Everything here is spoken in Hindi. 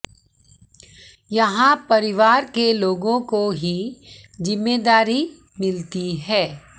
यहां परिवार के लोगों को ही जिम्मेदारी मिलती है